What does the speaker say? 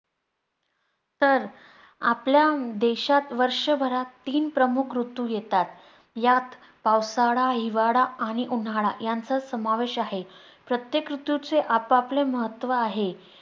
तर, आपल्या देशात वर्षभरात तीन प्रमुख ऋतू येतात. यात पावसाळा, हिवाळा आणि उन्हाळा यांचा समावेश आहे. प्रत्येक ऋतूचे आपापले महत्व आहे.